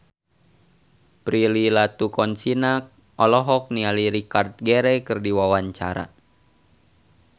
Prilly Latuconsina olohok ningali Richard Gere keur diwawancara